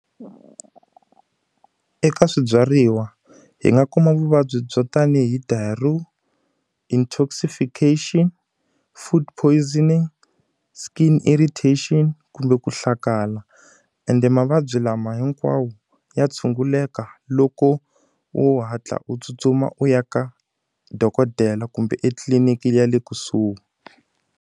Eka swibyariwa, hi nga kuma vuvabyi byo tanihi , intoxification, food poisoning, skin irritation kumbe ku hlakala. Ende mavabyi lama hinkwawo ya tshunguleka loko u hatla u tsutsuma u ya ka dokodela kumbe etliliniki ya le kusuhi.